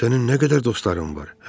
Sənin nə qədər dostların var?